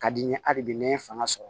Ka di n ye halibi n ye fanga sɔrɔ